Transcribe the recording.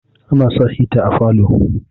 ana sa hita a falo